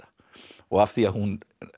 og af því hún